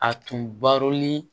A tun barolen